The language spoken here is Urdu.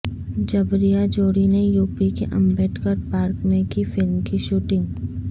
جبریہ جوڑی نے یوپی کے امبیڈکر پارک میں کی فلم کی شوٹنگ